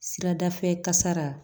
Siradafɛ kasara